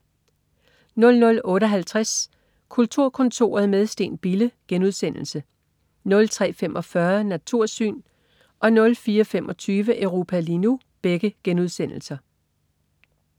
00.58 Kulturkontoret - med Steen Bille* 03.45 Natursyn* 04.25 Europa lige nu*